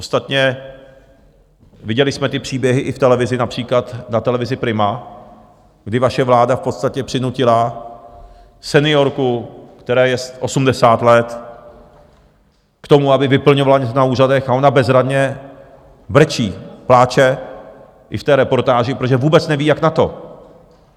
Ostatně viděli jsme ty příběhy i v televizi, například na televizi Prima, kdy vaše vláda v podstatě přinutila seniorku, které je 80 let, k tomu, aby vyplňovala něco na úřadech, a ona bezradně brečí, pláče, i v té reportáži, protože vůbec neví, jak na to.